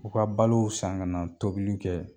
U ka balow san kana tobili kɛ